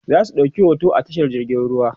zasu ɗauki hoto a tashar jirgin ruwa